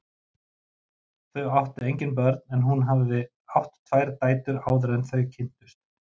Þau áttu engin börn en hún hafði átt tvær dætur áður en þau kynntust.